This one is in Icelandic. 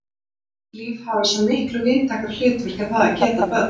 Kynlíf hafi svo miklu víðtækara hlutverk en það að geta börn.